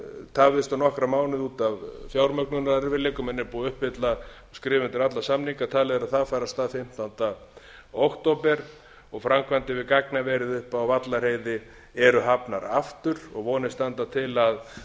tafðist um nokkra mánuði út af fjármögnunarerfiðleikum en er búið að uppfylla skrifa undir alla samninga talið er að það fari af stað fimmtánda október og framkvæmdir við gagnaverið uppi á vallarheiði eru hafnar aftur og vonir standa til að